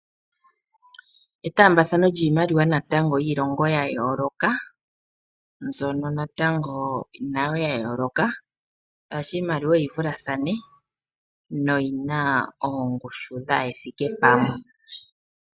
Etaambathano lyiimaliwa natango lyiilongo ya yooloka, mbyono natango nayo ya yooloka, shaashi iimaliwa oyi vulathane noyi na oongushu dhaa hethike pamwe.